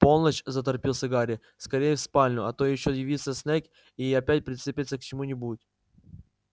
полночь заторопился гарри скорее в спальню а то ещё явится снегг и опять прицепится к чему-нибудь